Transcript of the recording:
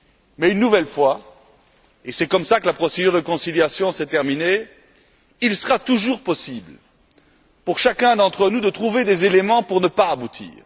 Mais je rappelle et c'est ainsi que la procédure de conciliation s'est interrompue qu'il sera toujours possible pour chacun d'entre nous de trouver des éléments pour ne pas aboutir.